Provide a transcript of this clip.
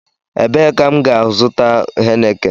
Ebee ka m gá-azuta Heineken?